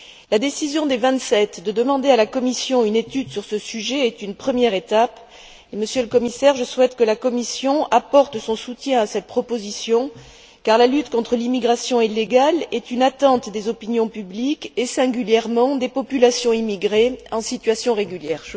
La décision des Vingt sept de demander à la Commission une étude sur ce sujet est une première étape et, Monsieur le Commissaire, je souhaite que la Commission apporte son soutien à cette proposition, car la lutte contre l'immigration illégale est une attente des opinions publiques et, singulièrement, des populations immigrées en situation régulière.